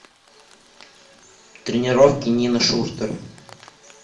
тренировки нины шуртер